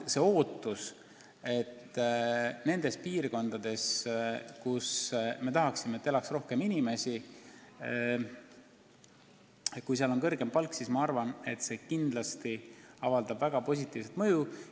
See, kui nendes piirkondades, kus me tahaksime, et elaks rohkem inimesi, on kõrgem palk, avaldab kindlasti väga positiivset mõju.